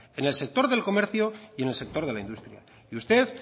en el sector del comercio y en el sector de la industria y usted